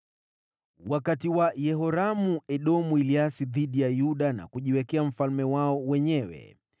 Wakati wa Yehoramu, Edomu waliasi dhidi ya Yuda na kujiwekea mfalme wao wenyewe.